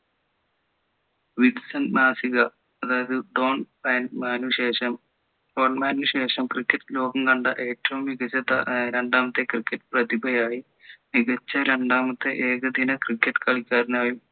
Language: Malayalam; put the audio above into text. wisden മാസിക അതായത് ഡോൺ ബ്രാഡ്മാന് ശേഷം ബ്രാഡ്മാന് ശേഷം cricket ലോകം കണ്ട ഏറ്റവും മികച്ച ഏർ രണ്ടാമത്തെ cricket പ്രതിഭയായി മികച്ച രണ്ടാമത്തെ ഏകദിന ക cricket കളിക്കാരനായും